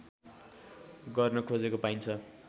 गर्न खोजेको पाइन्छ